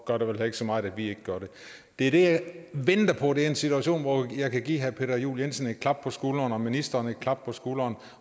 gør det vel heller ikke så meget at vi ikke gør det det jeg venter på er en situation hvor jeg kan give herre peter juel jensen et klap på skulderen og ministeren et klap på skulderen